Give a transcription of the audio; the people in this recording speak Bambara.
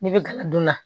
Ne bɛ gala don la